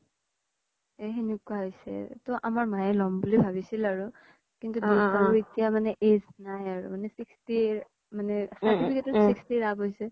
এ সেনেকুৱা হৈছে তও আমাৰ মাই ল'ম বুলি ভাবিছিল আৰু কিন্তু এতিয়া মানে age নাই আৰু মানে sixty মানে